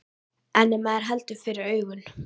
En ef maður heldur fyrir augun.